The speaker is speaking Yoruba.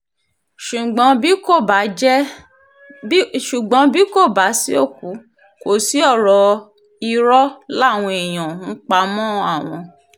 ṣùgbọ́n bí kò bá sí òkú kò sí ọ̀rọ̀ irọ́ làwọn èèyàn ń pa mọ́ àwọn